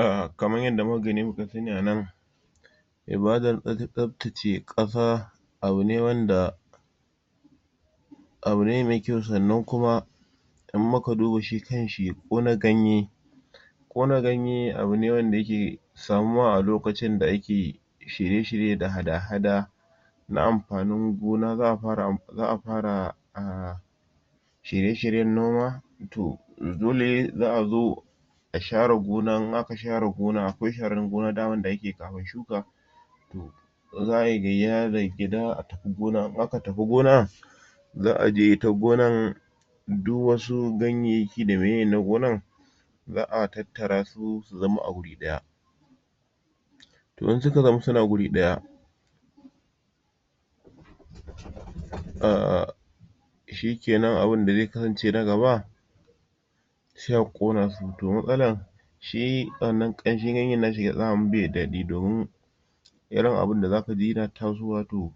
A kamar yadda muka gani muka sani a nan ibadan tsaftace ƙasa abu ne wanda abu ne ma kyau sannan kuma in muka duba shi kan shi ƙona ganye ƙona ganye abune wanda yake samuwa a lokacin da ake shirye shirye da hada hada na amfanin gona zaʼa fara shirye shiryen noma to dole zaʼa zo a share gona in aka share gona akwai sharan gona daman da ake kamin shuka zaʼai gayya daga gida a tafi gona in aka tafi gona zaʼa je ita gonan duk wasu ganyayyaki da meye na gonan zaʼa tattara su su zama a guri ɗaya in suka zama suna guri ɗaya shike nan abunda ze kasance na gaba se a ƙona su to matsalan shi wannan ƙanshin ganye nashi bashi da daɗi domin irin abun da zaka ji yana tasowa to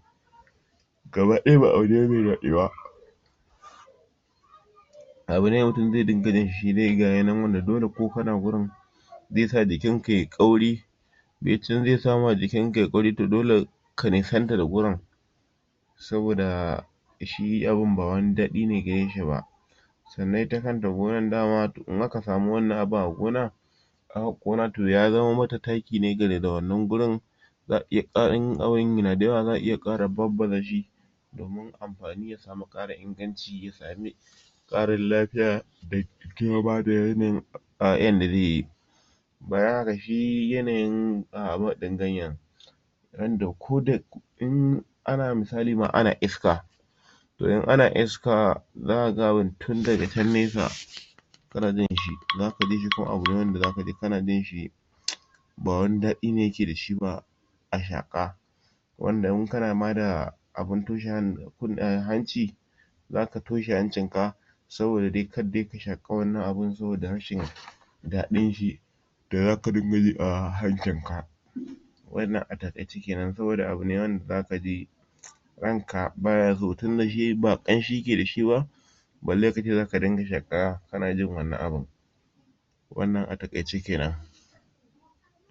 gaba ɗaya ba abune me daɗi ba abune mutum ze ringa jinshi shidai gashi nan wanda dole ko kana gurin zesa jikin ka yai ƙauri zesa ma jikin ka yai ƙauri dole ka nisanta da gurin saboda shi abun ba wani daɗi ne gareshi ba sannan ita kanta gonan dama in aka samu wannan abun a gona aka ƙona to yama mata taki ne daidai da wannan gurin zaʼa in abun yana da yawa zaʼa iya ƙara babbazashi domin amfani ya samu ƙara inganci ya sami ƙarin lafiya da da kuma bada yanayin yanda zeyi bayan haka shi yanayin a ganyen yanda koda ana misali ma ana iska to in ana iska zaka ga tundaga can nesa kana jinshi zaka jishi to abu ne zakaji kana jinshi ba wani daɗi ne yake dashi ba a shaƙa wanda in kana ma da abu toshe kun hanci zaka toshe hancin ka saboda dai kaddai ka shaƙa wannan abun saboda rashin daɗin shi da zaka dinga ji a hancinka wannan a taƙaice kenan saboda abune wanda zaka ji ranka baya so tinda shi ba ƙanshi keda shi ba balle kace zaka ringa shuƙa kana jin wannan abun wanna a taƙaice kenan